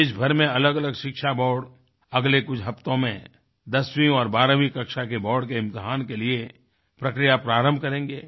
देशभर में अलगअलग शिक्षा बोर्ड अगले कुछ हफ़्तों में दसवीं और बारहवीं कक्षा के बोर्ड के इम्तिहान के लिए प्रक्रिया प्रारंभ करेंगें